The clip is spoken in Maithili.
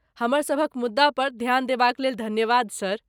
हमर सभक मुद्दा पर ध्यान देबाक लेल धन्यवाद सर।